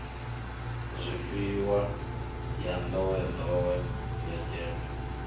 zwifhiwa ya nḓowenḓowe ya gems